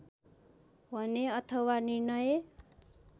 भने अथवा निर्णय